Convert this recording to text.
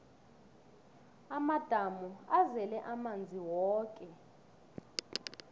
amadamu azele amanzi woke